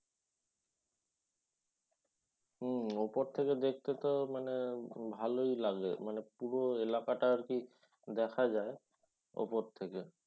হম উপর থেকে দেখতে তো মানে ভালই লাগে। পুরো এলাকাটা আর কি দেখা যায়। ওপর থেকে।